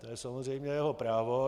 To je samozřejmě jeho právo.